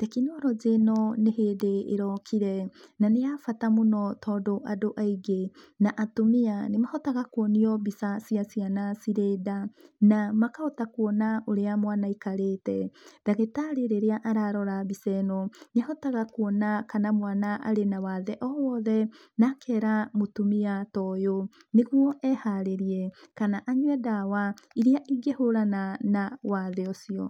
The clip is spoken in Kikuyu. Tekinoronjĩ ĩno nĩ hĩndĩ ĩrokire, na nĩ ya bata mũno tondũ andũ aingĩ, na atumia, nĩmahota kuonio mbica cia ciana ciri nda. Na makahota kuona ũrĩa mwana aikarĩte. Ndagĩtarĩ rĩrĩa ararora mbica ĩno, nĩahotaga kuona kana mwana arĩ na wathe o wothe, na akera mũtumia ta ũyũ, nĩguo eharĩrie, kana anyue ndawa iria ingĩhũrana na wathe ũcio.